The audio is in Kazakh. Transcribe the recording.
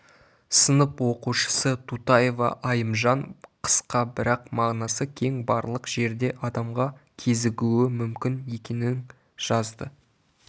сынып оқушысы тутаева айымжан қысқа бірақ мағынасы кең барлық жерде адамға кезігуі мүмкін екенің жазды